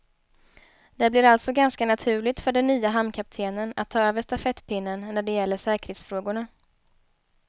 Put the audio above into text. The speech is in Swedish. Det blir alltså ganska naturligt för den nye hamnkaptenen att ta över stafettpinnen när det gäller säkerhetsfrågorna.